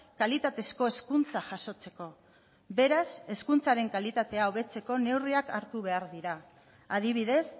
kalitatezko hezkuntza jasotzeko beraz hezkuntzaren kalitatea hobetzeko neurriak hartu behar dira adibidez